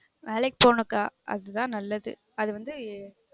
வேலைக்கு போகனும் கா அது தான் நல்லது அது வந்து